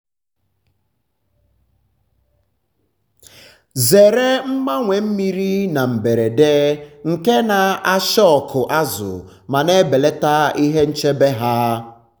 zere mgbanwe mmiri na mberede nke na ashọkụ azụ ma na-ebelata ihe nchebe ha.